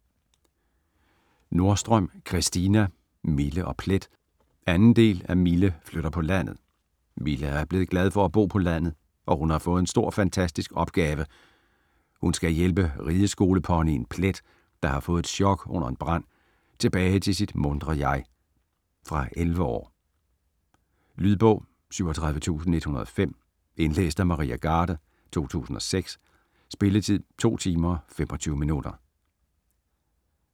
Nordstrøm, Christina: Mille og Plet 2. del af Mille flytter på landet. Mille er blevet glad for at bo på landet og hun har fået en stor fantastisk opgave: Hun skal hjælpe rideskoleponyen Plet, der har fået et chock under en brand, tilbage til sit muntre jeg. Fra 10 år. Lydbog 37105 Indlæst af Maria Garde, 2006. Spilletid: 2 timer, 25 minutter.